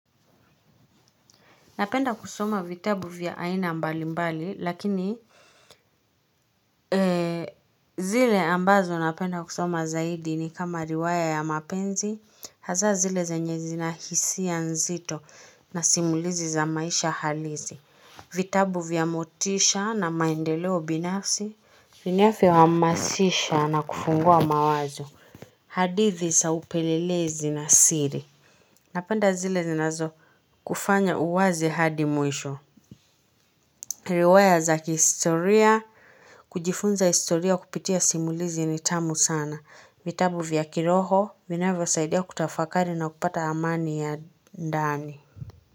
Napenda kusoma vitabu vya aina mbali mbali lakini ee zile ambazo napenda kusoma zaidi ni kama riwaya ya mapenzi hazaa zile zenye zina hisia nzito na simulizi za maisha halisi vitabu vya motisha na maendeleo binafsi vinavyo hamasisha na kufungua mawazo hadithi za upelelezi na siri napenda zile zinazo kufanya uwazi hadi mwisho Riwaya za kihistoria, kujifunza historia kupitia simulizi ni tamu sana. Vitabu vya kiroho, vinavyo saidia kutafakari na kupata amani ya ndani.